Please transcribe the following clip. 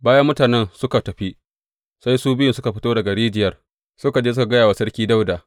Bayan mutanen suka tafi, sai su biyun suka fito daga rijiyar suka je suka gaya wa Sarki Dawuda.